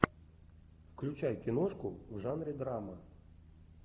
включай киношку в жанре драма